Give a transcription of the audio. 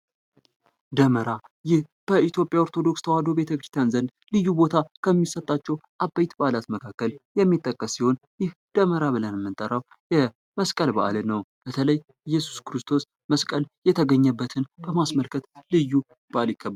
ደመራ ይህ በኢትዮጵያ ኦርቶዶክስ ተዋህዶ ቤተክርስቲያን ዘንድ ልዩ ቦታ ከሚሰጠው አበይት በዓላት መካከል የሚጠቀስ ሲሆን ይህ ደመራ ብለን የምንጠራው የመስቀል በዓልን ነው። በተለይ የኢየሱስ ክርስቶስ መስቀል የተገኘበትን በማስመልከት ልዩ በአል ይከበራል።